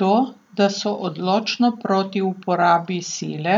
To, da so odločno proti uporabi sile,